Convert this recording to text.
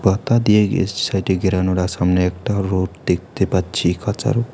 পাতা দিয়ে এ সাইটে ঘেরানোরা সামনে একটা রোড দেখতে পাচ্ছি খাঁচার।